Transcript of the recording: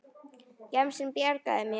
Gemsinn bjargar mér.